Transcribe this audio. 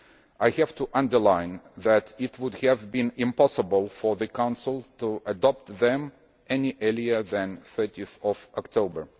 I have to underline that it would have been impossible for the Council to adopt them any earlier than 30 October